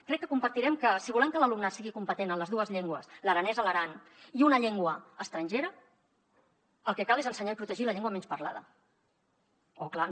crec que compartirem que si volem que l’alumnat sigui competent en les dues llengües l’aranès a l’aran i una llengua estrangera el que cal és ensenyar i protegir la llengua menys parlada o clar no